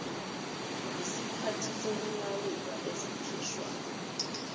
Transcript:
yisikhali sokulawula esikhishwa